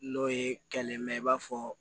N'o ye kelen mɛ i b'a fɔ